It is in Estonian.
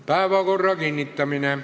Päevakorra kinnitamine.